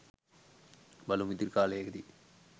බලමු ඉදිරි කාලයකදී